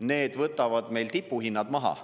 need võtavad meil tipuhinnad maha.